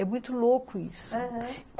É muito louco isso, aham.